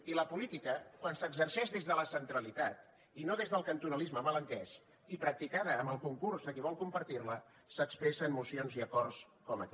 i la política quan s’exerceix des de la centralitat i no des del cantonalisme mal entès i practicada amb el concurs de qui vol compartir la s’expressa amb mocions i acords com aquest